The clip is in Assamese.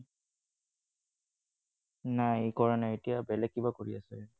নাই সি কৰা নাই এতিয়া বেলেগ কিবা কৰি আছে সি।